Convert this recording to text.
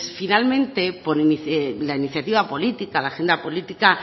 finalmente por la iniciativa política la agenda política